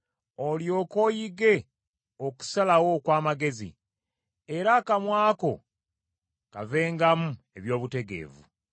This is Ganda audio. olyoke oyige okusalawo okw’amagezi, era akamwa ko kavengamu eby’obutegevu.